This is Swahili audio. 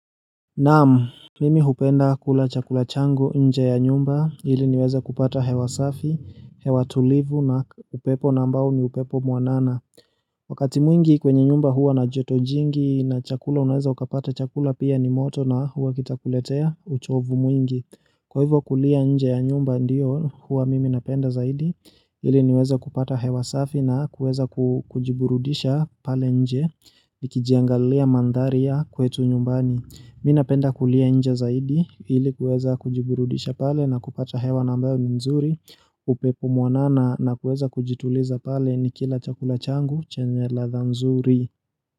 Naam Mimi hupenda kula chakula changu nje ya nyumba iliniweze kupata hewa safi, hewa tulivu na upepo ambao ni upepo mwanana Wakati mwingi kwenye nyumba huwa na joto jingi na chakula unaweza ukapata chakula pia ni moto na huwa kitakuletea uchovu mwingi Kwa hivyo kulia nje ya nyumba ndio huwa mimi napenda zaidi ili ninaweza kupata hewa safi na kuweza kujiburudisha pale nje nikijiangalia mandharia ya kwetu nyumbani minapenda kulia nje zaidi ilikuweza kujiburudisha pale na kupata hewa ambayo ni nzuri upepo mwanana na kuweza kujituliza pale nikila chakula changu chenye latha mzuri.